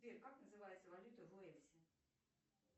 сбер как называется валюта в уэльсе